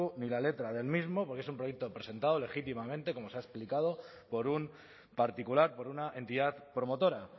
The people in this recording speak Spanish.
ni la letra del mismo porque es un proyecto presentado legítimamente como se ha explicado por un particular por una entidad promotora